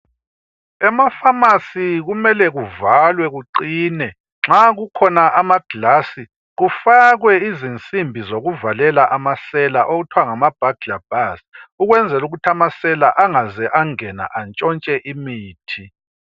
Emafamasi kumele kuvalwe kuqine, nxa kukhona amaglazi kumele kufakwe insimbi zokuvalela amasela okuthwa ngama burglar bars ukuze amasela angangeni atshontshe imithi.